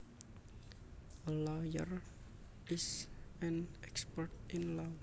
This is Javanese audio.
A lawyer is an expert in law